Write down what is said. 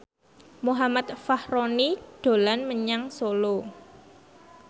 Muhammad Fachroni dolan menyang Solo